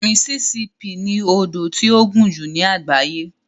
Mississippi ni odò tí ó gùn jù ní àgbáyé.